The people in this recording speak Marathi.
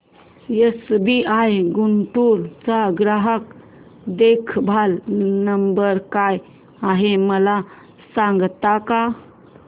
एसबीआय गुंटूर चा ग्राहक देखभाल नंबर काय आहे मला सांगता का